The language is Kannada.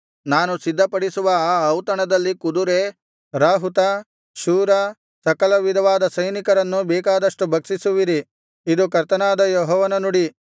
ನಾನು ಸಿದ್ಧಪಡಿಸುವ ಆ ಔತಣದಲ್ಲಿ ಕುದುರೆ ರಾಹುತ ಶೂರ ಸಕಲ ವಿಧವಾದ ಸೈನಿಕರನ್ನು ಬೇಕಾದಷ್ಟು ಭಕ್ಷಿಸುವಿರಿ ಇದು ಕರ್ತನಾದ ಯೆಹೋವನ ನುಡಿ